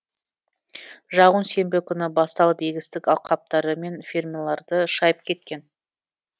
жауын сенбі күні басталып егістік алқаптары мен фермаларды шайып кеткен